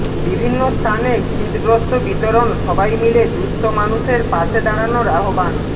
বিভিন্ন স্থানে শীতবস্ত্র বিতরণ সবাই মিলে দুস্থ মানুষের পাশে দাঁড়ানোর আহ্বান